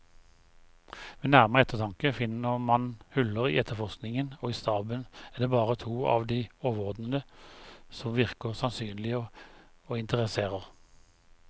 Ved nærmere eftertanke finner man huller i efterforskningen, og i staben er det bare to av de overordnede som virker sannsynlige og interesserer.